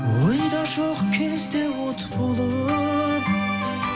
ойда жоқ кезде от болып